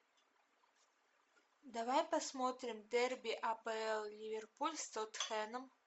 давай посмотрим дерби апл ливерпуль с тоттенхэмом